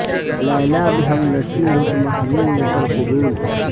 لیلی بھی ہمنشیں ہو تو محمل نہ کر قبول